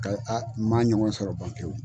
Ka a m'a ɲɔgɔn sɔrɔ ban ke wo.